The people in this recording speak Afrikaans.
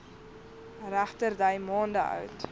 regterdy maande oud